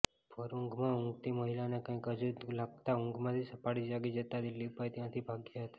ભર ઉંઘમાં ઉંઘતી મહિલાને કાંઇક અજુગતું લાગતા ઉંઘમાંથી સફાળી જાગી જતા દીલીપભાઇ ત્યાંથી ભાગ્યા હતા